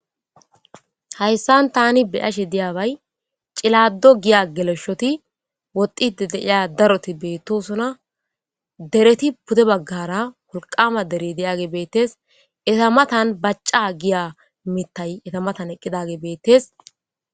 Hayssan taani beashe diiyabay cillado giiya gelleshoti woxxidi deiya daaroti bettossona deeretti puude baggara wolqama deerey diiyagey bettes eeta mattan baacca giya mittay eeta mattan eqqidagey bettes.